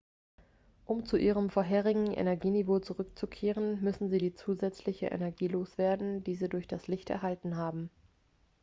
um zu ihrem vorherigen energieniveau zurückzukehren müssen sie die zusätzliche energie loswerden die sie durch das licht erhalten haben